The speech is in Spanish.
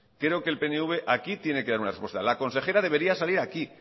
creo que el pnv aquí tiene que dar una respuesta la consejera debería salir aquí